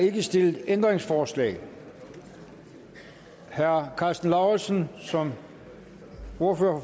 ikke stillet ændringsforslag herre karsten lauritzen som ordfører